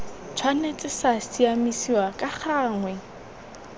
tshwanetse sa siamisiwa ka gangwe